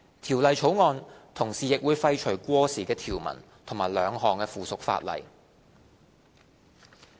《條例草案》同時亦會廢除過時的條文和兩項附屬法例。